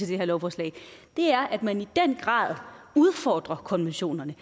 det her lovforslag det er at man i den grad udfordrer konventionerne